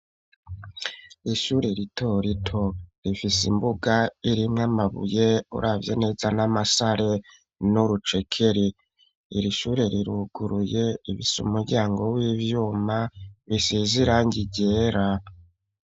Ishure rito rito, rifise imbuga, irimwo amabuye, uravye neza ni amasare, n'urucekeri; iri shure riruguruye, rifise umuryango w'ivyuma, bisize irangi ryera.